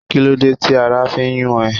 Kí ló dé tí ara fi ń yún ẹ?